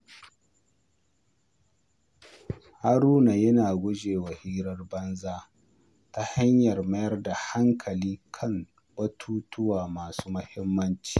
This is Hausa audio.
Haruna yana guje wa hirar banza ta hanyar mayar da hankali kan batutuwa masu muhimmanci.